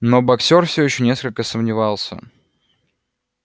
но боксёр всё ещё несколько сомневался